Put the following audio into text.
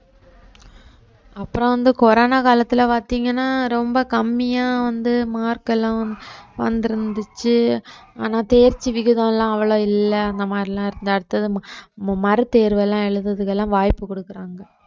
அப்புறம் வந்து கொரோனா காலத்துல பார்த்தீங்கன்னா ரொம்ப கம்மியா வந்து mark எல்லாம் வந்திருந்துச்சு ஆனா தேர்ச்சி விகிதம் எல்லாம் அவ்வளவு இல்லை அந்த மாதிரி எல்லாம் இருந்தது அடுத்தது ம~ மறுதேர்வெல்லாம் எழுதுறதுக்கு எல்லாம் வாய்ப்பு குடுக்குறாங்க